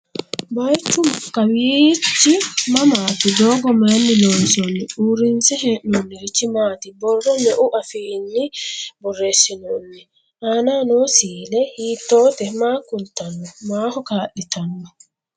Bayiichchu kawiichchi mamaatti? Doogo mayiinni loonsoonni? Uurinse hee'noonirichi maati? Borro meu afiinno borreessinnonni? Aannaho noo siille hiittootte maa kulittanno? Maaho kaa'littanno?